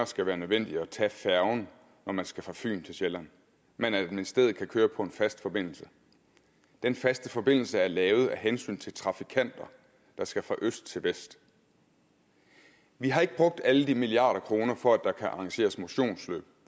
skal være nødvendigt at tage færgen når man skal fra fyn til sjælland men at man i stedet kan køre på en fast forbindelse den faste forbindelse er lavet af hensyn til trafikanter der skal fra øst til vest vi har ikke brugt alle de milliarder af kroner for at der skal kunne arrangeres motionsløb